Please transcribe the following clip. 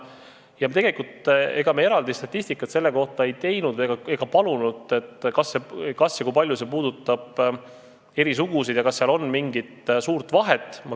Me ei ole teinud ega palunud teha selle kohta eraldi statistikat, kas ja kui palju see puudutab eri sugusid ja kas seal on mingit suurt vahet.